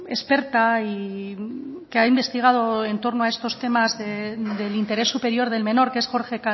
experta y que ha investigado en torno a estos temas del interés superior del menor que es jorge